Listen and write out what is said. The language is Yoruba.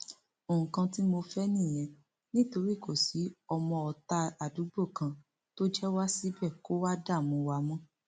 nǹkan tí mo fẹ nìyẹn nítorí kò sí ọmọọta àdúgbò kan tó jẹ wá síbẹ kó wá dààmú wa mọ